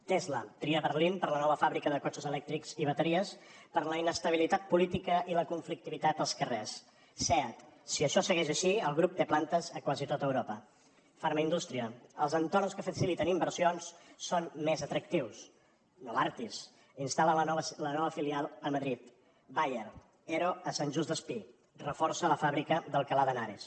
tesla tria berlín per a la nova fàbrica de cotxes elèctrics i bateries per la inestabilitat política i la conflictivitat als carrers seat si això segueix així el grup té plantes a quasi tot europa farmaindustria els entorns que faciliten inversions són més atractius novartis instal·la la nova filial a madrid bayer ero a sant joan despí reforça la fàbrica d’alcalá de henares